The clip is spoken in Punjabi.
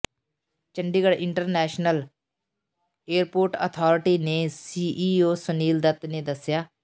ਚੰਡੀਗੜ੍ਹ ਇੰਟਰਨੈਸ਼ਟਲ ਏਅਰਪੋਰਟ ਅਥਾਰਟੀ ਦੇ ਸੀਈਓ ਸੁਨੀਲ ਦੱਤ ਨੇ ਦੱਸਿਆ